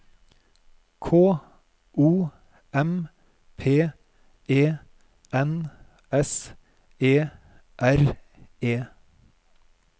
K O M P E N S E R E